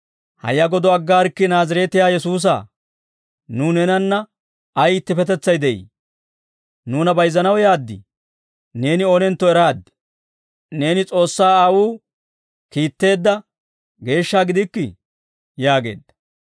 «Hayya godo aggaarikkii Naazireetiyaa Yesuusa; nuw neenanna ay ittippetetsay de'ii? Nuuna bayizzanaw yaad? Neeni oonentto eraad; Neeni S'oossaa Aawuu kiitteedda geeshsha gidikkii!» yaageedda.